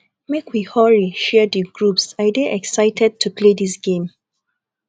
make we hurry share the groups i dey excited to play dis game